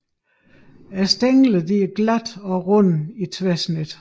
Stænglerne er glatte og runde i tværsnit